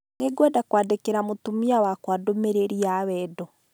Nĩ ngwenda kwandĩkĩra mũtumia wakwa ndũmĩrĩri ya wendo